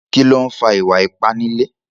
Kí ló ń fa ìwà ipá nílé?